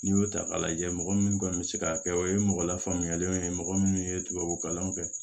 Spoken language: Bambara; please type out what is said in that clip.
N'i y'o ta k'a lajɛ mɔgɔ min kɔni bɛ se k'a kɛ o ye mɔgɔ lafaamuyalenw ye mɔgɔ minnu ye tubabu kalanw kɛ